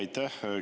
Aitäh!